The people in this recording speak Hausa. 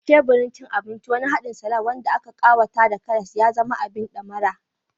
A teburin cin abinci, wani haɗin salad wanda aka ƙawata da karas ya zama abin ɗamara.